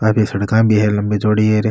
काफी सड़का भी है लम्बी चौड़ी।